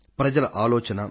ప్రజల ఆలోచన